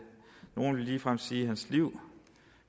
ligefrem sige sit liv